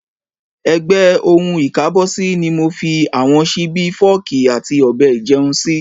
Ẹ̀gbẹ́ ohun ìkábọ́sí ni mo fi mi àwọn ṣíbí, fọ́ọ̀kì àti ọ̀bẹ ìjẹun sí.